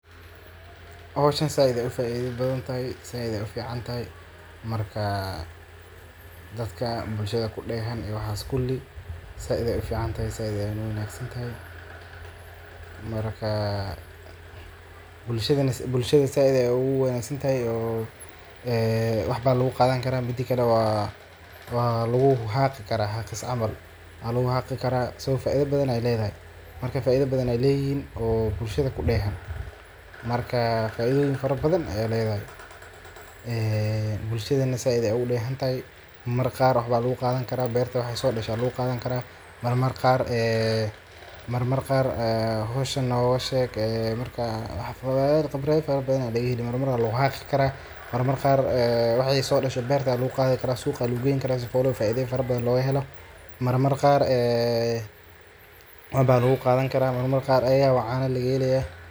Howshan said ayay ufaidha badhantahay said ay uficanatahay marka dadka bulshadha kudehan waxas kuli said ay uficanatahay said ay uwanagsantahay. Markaa bulshadha said ay uguwanagsnatahay ee waxba lagugadhani Kara midakale walugu haqi kara haqis cml waluguhaqi Kara [cs,]so faidha badhan ay ledhahay marka faidha badhan ay leyihin oo bulshadha kudehan. Marka faidhoyin fara badhan aya lagahelaya ee bulshadhana said ay ugudehanatahay marmar qaar waxba laguqadhani kara beerta waxay sodasha laguqadhani Kara marmar qaar howshan nogasheg marmar khibradha fara badhan aya lagaheli marka faidhoyin badhan aya laguqathi kara marmar qaar waxay sodasha beerta aya laguqathi kara suuqa ba lagugeyni Kara howla faidha farabadhan sidha logahela marmar qaar ee waxba lagugadhani Kara marmar qaar ayidhawa caana lagahelaya